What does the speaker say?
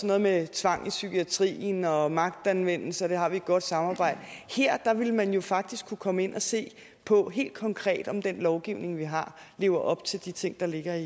noget med tvang i psykiatrien og magtanvendelse og der har vi et godt samarbejde her ville man jo faktisk kunne komme ind og se på helt konkret om den lovgivning vi har lever op til de ting der ligger